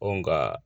nga